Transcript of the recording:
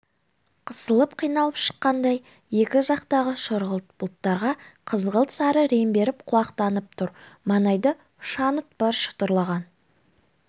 қысылып қиналып шыққандай екі жақтағы сұрғылт бұлттарға қызғылт-сары рең беріп құлақтанып тұр маңайда шаңыт бар шытырлаған